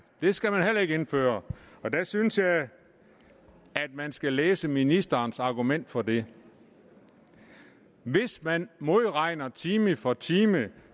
det skal man heller ikke indføre jeg synes at man skal læse ministerens argument for det hvis man modregner time for time